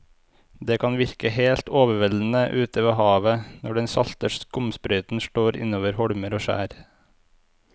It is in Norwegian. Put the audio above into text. Det kan virke helt overveldende ute ved havet når den salte skumsprøyten slår innover holmer og skjær.